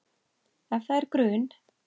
Ef það er grun